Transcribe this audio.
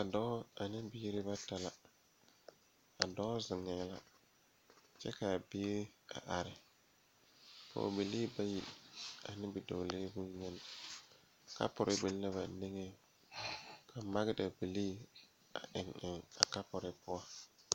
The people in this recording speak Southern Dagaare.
Dɔɔ ane biire bata la a dɔɔ zeŋɛɛ la kyɛ kaa bie a are pɔɔbilii bayi ane bidɔɔlee bonyene kapure biŋ la ba niŋeŋ ka magdabilii a eŋ a kapure poɔ.